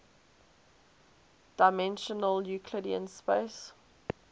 dimensional euclidean space